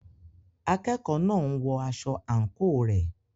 Akẹ́kọ̀ọ́ náà ń wọ aṣọ àǹkóò rẹ̀.